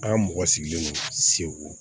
An ka mɔgɔ sigilen don segu